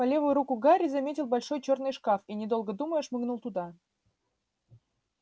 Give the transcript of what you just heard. по левую руку гарри заметил большой чёрный шкаф и недолго думая шмыгнул туда